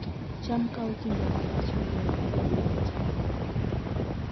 cham kawo kinde malach moloyo keyo mag cham mamoko